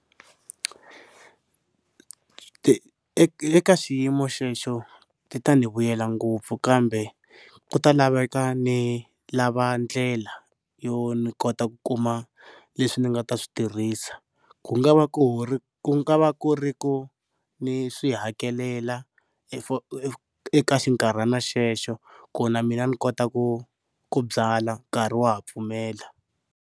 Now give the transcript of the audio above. Ti eka xiyimo xexo ti ta ni vuyela ngopfu kambe ku ta laveka ni lava ndlela yo ni kota ku kuma leswi ni nga ta swi tirhisa, ku nga va ku ri ku nga va ku ri ku ni swi hakelela eka xinkarhana xexo ku na mina ni kota ku ku byala nkarhi wa ha pfumela.